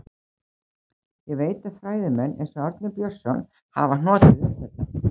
Ég veit að fræðimenn, eins og Árni Björnsson, hafa hnotið um þetta.